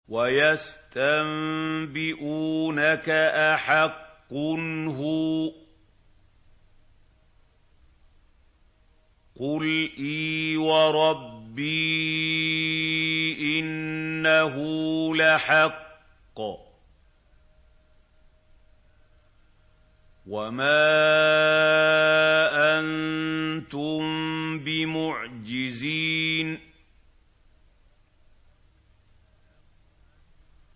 ۞ وَيَسْتَنبِئُونَكَ أَحَقٌّ هُوَ ۖ قُلْ إِي وَرَبِّي إِنَّهُ لَحَقٌّ ۖ وَمَا أَنتُم بِمُعْجِزِينَ